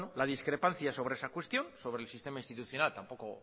la discrepancia sobre esa cuestión sobre el sistema institucional tampoco